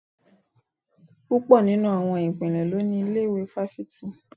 Púpọ̀ nínú àwọn ìpínlẹ̀ ló ní ilé-ìwé fáfitì